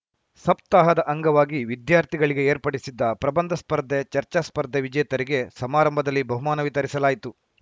ಸಪ್ತಾಹದ ಅಂಗವಾಗಿ ವಿದ್ಯಾರ್ಥಿಗಳಿಗೆ ಏರ್ಪಡಿಸಿದ್ದ ಪ್ರಬಂಧ ಸ್ಪರ್ಧೆ ಚರ್ಚಾ ಸ್ಪರ್ಧೆ ವಿಜೇತರಿಗೆ ಸಮಾರಂಭದಲ್ಲಿ ಬಹುಮಾನ ವಿತರಿಸಲಾಯಿತು